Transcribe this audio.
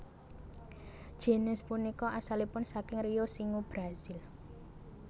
Jinis punika asalipun saking Rio Xingu Brazil